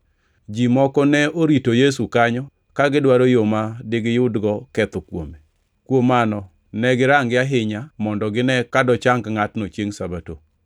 Ji moko ne orito Yesu kanyo ka gidwaro yo ma digiyudgo ketho kuome. Kuom mano ne girange ahinya mondo gine ka dochang ngʼatno chiengʼ Sabato.